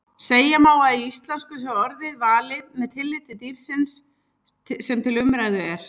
Segja má að í íslensku sé orðið valið með tilliti dýrsins sem til umræðu er.